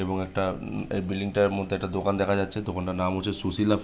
এবং একটা উ এ বিল্ডিং টার মর্ধে একটা দোকান দেখা যাচ্ছে। দোকান টার নাম হচ্ছে সুশীলা --